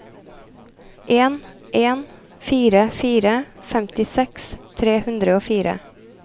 en en fire fire femtiseks tre hundre og fire